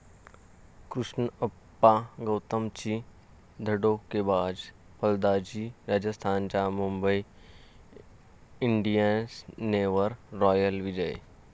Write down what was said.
कृष्णप्पा गौतमची धडाकेबाज फलंदाजी, राजस्थानचा मुंबई इंडियन्सवर 'रॉयल विजय'